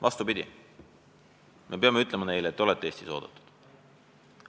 Vastupidi, me peame neile ütlema, et te olete Eestis oodatud.